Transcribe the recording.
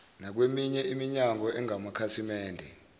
nakweminye iminyango engamakhasimende